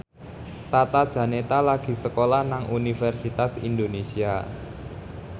Tata Janeta lagi sekolah nang Universitas Indonesia